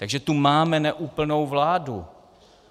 Takže tu máme neúplnou vládu.